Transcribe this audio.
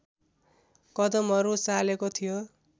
कदमहरू चालेको थियो